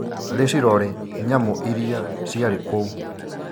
Rĩcirore nyamũ iria ciarĩ kũu.